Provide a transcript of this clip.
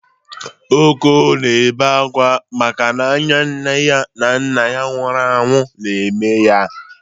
Oko na-ebe akwa maka n'anya nne na nna ya nwuru anwu na-eme ya